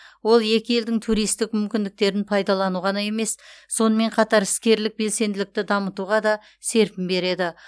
ол екі елдің туристік мүмкіндіктерін пайдалану ғана емес сонымен қатар іскерлік белсенділікті дамытуға да серпін береді